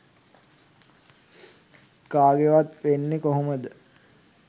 කාගෙවත් වෙන්නෙ කොහොමද?